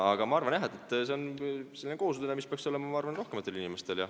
Aga ma arvan, jah, et see on kohusetunne, mida peaks olema rohkematel inimestel.